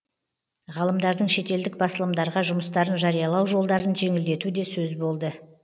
ғалымдардың шетелдік басылымдарға жұмыстарын жариялау жолдарын жеңілдету де сөз болды